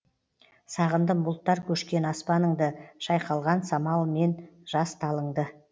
сағындым бұлттар көшкен аспаныңды шайқалған самалымен жас талыңды